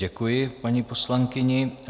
Děkuji paní poslankyni.